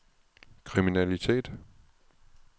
kriminalitet